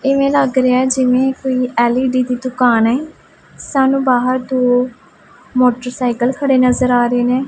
ਇਵੇਂ ਲੱਗ ਰਿਹਾ ਐ ਜਿਵੇਂ ਕੋਈ ਐਲ_ਈ_ਡੀ ਦੀ ਦੁਕਾਨ ਏ ਸਾਨੂੰ ਬਾਹਰ ਦੋ ਮੋਟਰਸਾਈਕਲ ਖੜੇ ਨਜ਼ਰ ਆ ਰਹੇ ਨੇ।